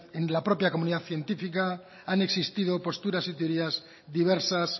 en la propia comunidad científica han existido posturas y teorías diversas